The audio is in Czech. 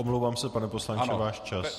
Omlouvám se, pane poslanče, váš čas.